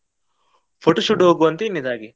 Photoshoot ಹೋಗುವ ಅಂತ ಹೇಳಿದ್ ಹಾಗೆ.